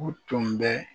U tun bɛ